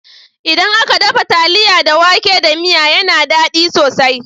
Idan aka dafa taliya da wake da miya yana dadi sosai